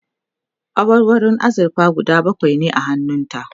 awarwarun azurfa guda bakwai ne a hannun ta